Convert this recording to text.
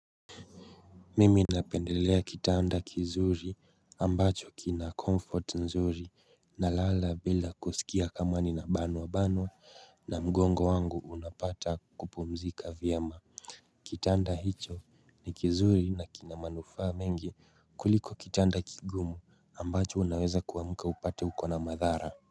Mimi napendelea kitanda kizuri ambacho kina comfort nzuri na lala bila kusikia kama ninabanwa banwa na mgongo wangu unapata kupumzika vyema Kitanda hicho ni kizuri na kinamanufa mengi kuliko kitanda kigumu ambacho unaweza kuamka upate ukona madhara.